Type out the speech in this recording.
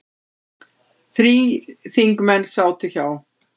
Þrír þingmenn sátu hjá